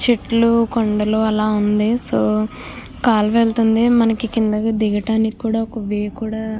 చెట్లు కొండలు అలా ఉంది సో కాలువ వెళ్తుంది మనకి కిందకి దిగటానికి కూడా ఒక వే కూడా --